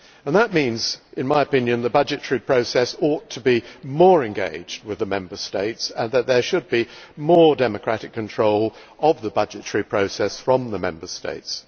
That means, in my opinion, that the budgetary process ought to be more engaged with the Member States and that there should be more democratic control of the budgetary process from the Member States.